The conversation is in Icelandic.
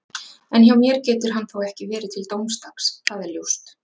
En hjá mér getur hann þó ekki verið til dómsdags, það er ljóst